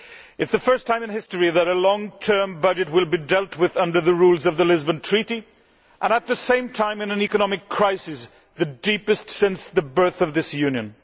It is the first time in history that a long term budget will be dealt with under the rules of the Lisbon Treaty and at the same time in an economic crisis, the deepest since the birth of this Union.